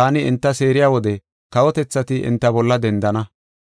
taani enta seeriya wode kawotethati enta bolla dendana.